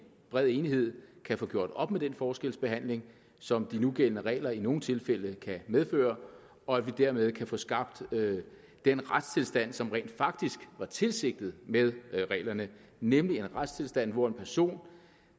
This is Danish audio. bred enighed kan få gjort op med den forskelsbehandling som de nugældende regler i nogle tilfælde kan medføre og at vi dermed kan få skabt den retstilstand som rent faktisk var tilsigtet med reglerne nemlig en retstilstand hvor en person